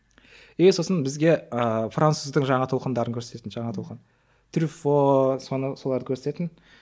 е сосын бізге ыыы француздың жаңа толқындарын көрсететін жаңа толқын трюффо соны соларды көрсететін